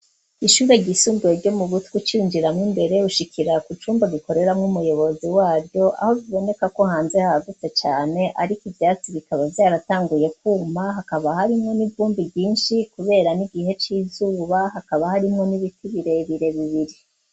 Ishure ryisumbuye ryo mu butwi cinjiramwo imbere ushikira ku cumba gikorera nk'umuyobozi wavyo aho biboneka ko hanze hagutse cane ariko ivyatsi bikaba baratanguye kumpa hakaba hari mwe nivumbi vyinshi kubera n'igihe c'izuba hakaba harimwo n'ibiti birebire bibiri.